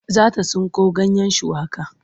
Za ta tsinko ganyen shuwaka.